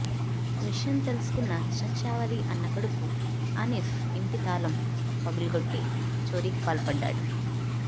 విషయం తెలుసుకున్న షంషావలి అన్న కొడుకు అనిఫ్ ఇంటి తాళం పగులగొట్టి చోరీకి పాల్పడ్డాడు